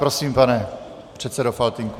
Prosím, pane předsedo Faltýnku.